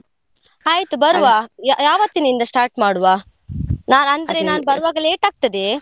ಆಯ್ತು ಯಾ~ ಯಾವತ್ತಿನಿಂದ start ಮಾಡುವ? ನಾನ್ ನಾನ್ ಬರುವಾಗ late ಆಗ್ತದೆ.